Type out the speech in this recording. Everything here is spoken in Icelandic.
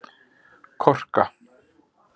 Korka